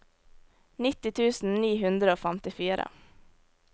nitti tusen ni hundre og femtifire